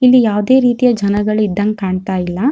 ಇಲ್ಲಿ ಯಾವದೇ ರೀತಿಯ ಜನಗಳ್ ಇದ್ದಂಗ್ ಕಾಣ್ತಾ ಇಲ್ಲಾ.